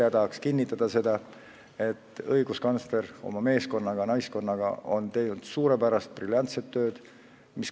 Nii tahaks minagi kinnitada seda, et õiguskantsler oma meeskonnaga-naiskonnaga on teinud suurepärast, briljantset tööd.